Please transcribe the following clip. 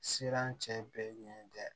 Siran cɛ bɛɛ ɲɛ tɛ